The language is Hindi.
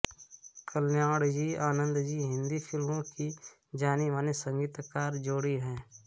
कल्याणजीआनंदजी हिन्दी फिल्मों की जानी मानी संगीतकार जोड़ी है